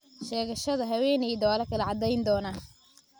Sheegashada haweeneyda waa la kala cadeyn doonaa.